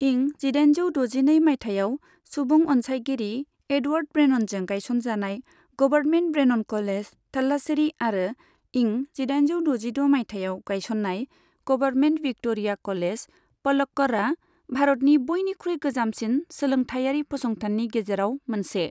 इं जिदाइनजौ द'जिनै मायथाइयाव सुबुं अनसायगिरि एडवर्ड ब्रेननजों गायसनजानाय गभारमेन्ट ब्रेनन कलेज, थालास्सेरी आरो इं जिदाइनजौ द'जिद' मायथाइयाव गायस'ननाय गभारमेन्ट विक्ट'रिया कलेज, पलक्कड़आ, भारतनि बयनिख्रुइ गोजामसिन सोलोंथायारि फसंथाननि गेजेराव मोनसे।